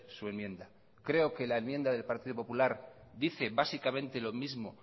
su enmienda creo que la enmienda del partido popular dice básicamente lo mismo